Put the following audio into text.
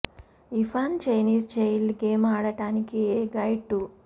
ఈ fun Chinese child game ఆడటానికి a guide to